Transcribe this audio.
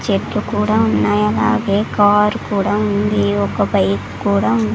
చెట్టు కూడా ఉన్నాయి అలాగే కార్ కూడా ఉంది ఒక బైక్ కూడా ఉంది.